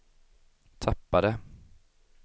tappade